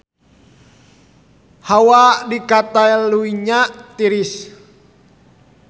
Hawa di Catalunya tiris